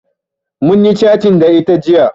Munyi catin da ita jiya